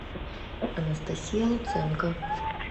анастасия луценко